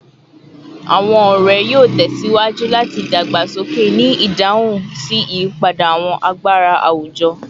Awọn ọrẹ yoo tẹsiwaju lati dagbasoke ni idahun si iyipada awọn agbara awujọ